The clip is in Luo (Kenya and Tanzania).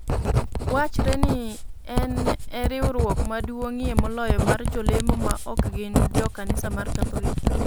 Wachre ni en e riwruok maduong'ie moloyo mar jolemo maok gin jo kanisa mar Katholik.